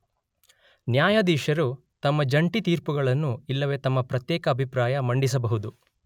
ನ್ಯಾಯಾಧೀಶರು ತಮ್ಮ ಜಂಟಿ ತೀರ್ಪುಗಳನ್ನು ಇಲ್ಲವೆ ತಮ್ಮ ಪ್ರತ್ಯೇಕ ಅಭಿಪ್ರಾಯ ಮಂಡಿಸಬಹುದು.